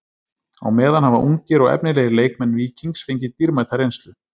Á meðan hafa ungir og efnilegir leikmenn Víkings fengið dýrmæta reynslu.